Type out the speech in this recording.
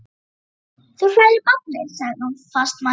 Þú hræðir barnið, sagði hún fastmælt.